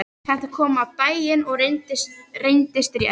Þetta kom á daginn og reyndist rétt.